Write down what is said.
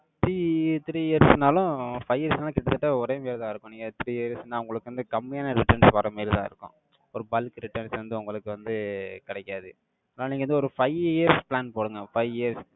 three three years னாலும், five years னாலும் கிட்டத்தட்ட ஒரே மாதிரிதான் இருக்கும். நீங்க three years ன்னா, உங்களுக்கு வந்து கம்மியான returns வர்ற மாதிரிதான் இருக்கும். ஒரு bulk returns வந்து, உங்களுக்கு வந்து கிடைக்காது. ஆனா, நீங்க வந்து ஒரு five years plan போடுங்க. Five years